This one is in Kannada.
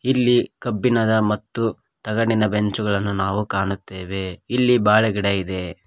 ಇಲ್ಲಿ ಕಬ್ಬಿಣದ ಮತ್ತು ತಗಡಿನ ಬೆಂಚುಗಳನ್ನು ನಾವು ಕಾಣುತ್ತೇವೆ ಇಲ್ಲಿ ಬಾಳೆ ಗಿಡ ಇದೆ.